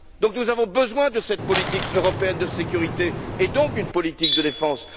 Par conséquent, nous avons besoin de cette politique européenne de sécurité et donc d'une politique de défense.